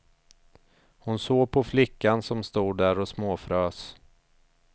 Hon såg på flickan, som stod där och småfrös.